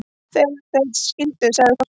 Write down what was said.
Þegar þeir skildu sagði Þórkell